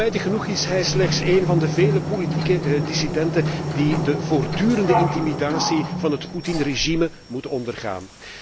Spijtig genoeg is hij slechts één van de vele politieke dissidenten die de voortdurende intimidatie van het Putinregime moeten ondergaan.